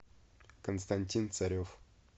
константин царев